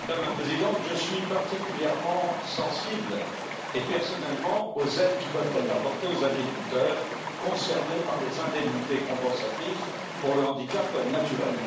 Madame la Présidente, je suis particulièrement et personnellement sensible aux aides qui peuvent être apportées aux agriculteurs concernés par les indemnités compensatrices pour le handicap naturel.